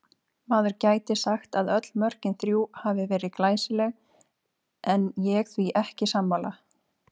Maður gæti sagt að öll mörkin þrjú hafi verið glæsileg en ég því ekki sammála.